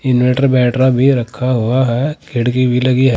Inverter बैटरा भी रखा हुआ है खिड़की भी लगी है।